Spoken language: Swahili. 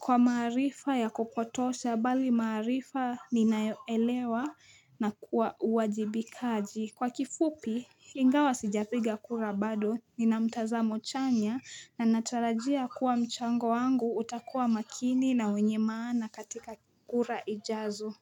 Kwa maarifa ya kupotosha, bali maarifa ninayoelewa na kuwa uwajibi kaji Kwa kifupi, ingawa sijapiga kura bado Nina mtazamo chanya na natarajia kuwa mchango wangu utakuwa makini na wenye maana katika kura ijazo.